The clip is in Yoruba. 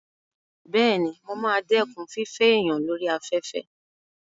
Bẹ́ẹ̀ni, mo ma dẹ́kun fífẹ́ èèyàn lórí afẹ́fẹ́